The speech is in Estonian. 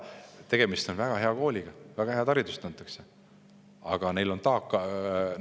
Tegemist on väga hea kooliga, seal antakse väga head haridust.